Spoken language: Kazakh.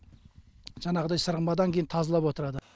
жаңағыдай сырамадан кейін тазалап отырады